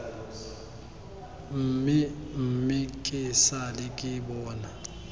mmemme ke sale ke bona